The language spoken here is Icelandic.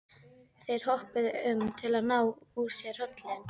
Þeir hoppuðu um til að ná úr sér hrollinum.